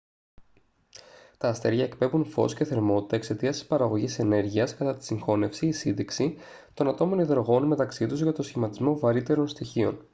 τα αστέρια εκπέμπουν φως και θερμότητα εξαιτίας της παραγωγής ενέργειας κατά τη συγχώνευση ή σύντηξη των ατόμων υδρογόνου μεταξύ τους για τον σχηματισμό βαρύτερων στοιχείων